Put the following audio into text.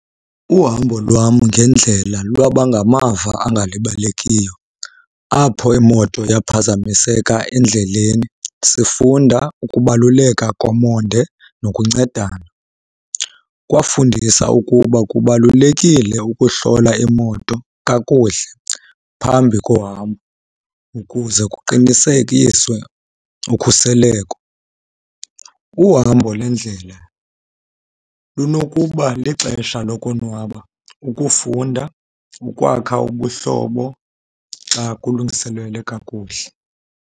Uhambo lwam ngendlela lwaba ngamava angalibalekiyo apho imoto yaphazamiseka endleleni sifunda ukubaluleka komonde nokuncedana. Kwafundisa ukuba kubalulekile ukuhlola imoto kakuhle phambi kohambo ukuze kuqinisekiswe ukhuseleko. Uhambo lendlela lunokuba lixesha lokonwaba, ukufunda, ukwakha ubuhlobo xa kulungiselelwe kakuhle.